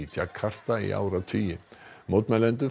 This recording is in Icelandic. Jakarta í áratugi mótmælendur